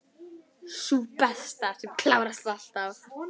Sú besta, sem klárast alltaf.